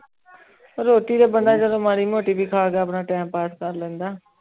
ਰੋਟੀ ਤੇ ਬੰਦਾ ਚਲੋ ਮਾੜੀ ਮੋਤੀ ਵੀ ਖਾ ਕੇ ਆਪਣਾ TIME PASS ਕਰ ਲੈਂਦਾ